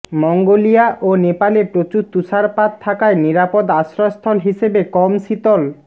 Mongolia ও নেপালে প্রচুর তুষারপাত থাকায় নিরাপদ আশ্রয়স্থল হিসেবে কম শীতল